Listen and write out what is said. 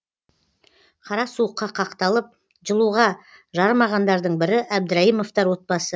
қара суыққа қақталып жылуға жарымағандардың бірі әбдірайымовтар отбасы